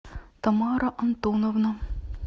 тамара антоновна